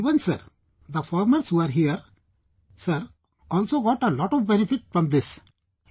Even sir, the farmers who are here, sir, also got a lot of benefit from this, sir